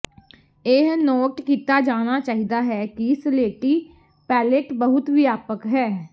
ਇਹ ਨੋਟ ਕੀਤਾ ਜਾਣਾ ਚਾਹੀਦਾ ਹੈ ਕਿ ਸਲੇਟੀ ਪੈਲੇਟ ਬਹੁਤ ਵਿਆਪਕ ਹੈ